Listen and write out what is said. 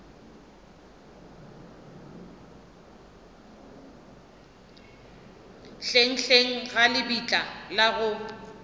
hlenghleng ga lebitla la go